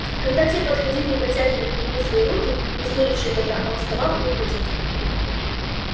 когда те подходили и протягивали к нему свои руки не сулившие добра он вставал и уходил